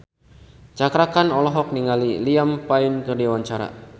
Cakra Khan olohok ningali Liam Payne keur diwawancara